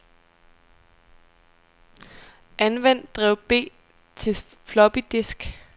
Anvend drev B til floppydisk.